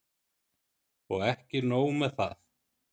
Og ekki nóg með það.